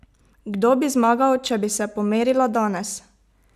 Kdo bi zmagal, če bi se pomerila danes?